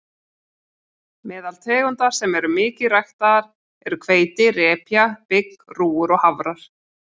Meðal tegunda sem eru mikið ræktaðar eru hveiti, repja, bygg, rúgur og hafrar.